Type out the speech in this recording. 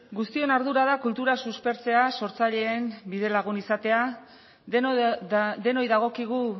guztion ardura da kultura suspertzea sortzaileen bidelagun izatea denoi dagokigu